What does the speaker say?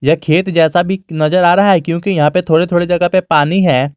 यह खेत जैसा भी नजर आ रहा है क्योंकि यहां पे थोड़े-थोड़े जगह पे पानी है।